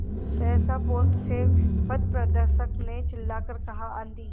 सहसा पोत से पथप्रदर्शक ने चिल्लाकर कहा आँधी